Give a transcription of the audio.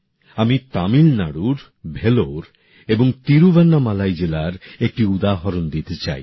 আমি তামিলনাড়ুর ভেল্লোর এবং তিরুভান্নামালাই জেলার একটি উদাহরণ দিতে চাই